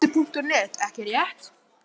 Þú skoðar Fótbolti.net ekki rétt?